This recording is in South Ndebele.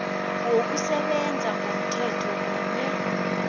wokusebenza ngomthetho kunye